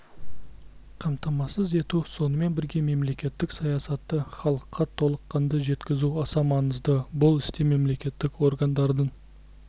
қамтамасыз ету сонымен бірге мемлекеттік саясатты халыққа толыққанды жеткізу аса маңызды бұл істе мемлекеттік органдардың